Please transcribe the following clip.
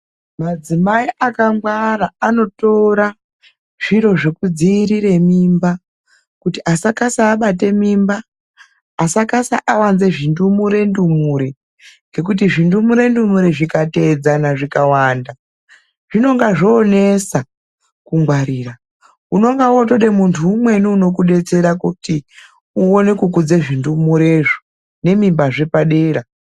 Madzimai akangwara anotora zviro zvekudziirire mimba kuti asakasa abate mimba, asakasa awanze zvindumure ndumure ngekuti zvindumure ndumure zvikateedzana zvikawanda zvinonga zvoonesa kungwarira. Unonga wootode muntu umweni unokudetsera kuti uone kukudze zvindumurezvo nemimbazve padera.